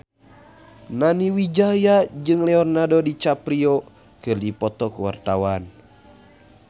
Nani Wijaya jeung Leonardo DiCaprio keur dipoto ku wartawan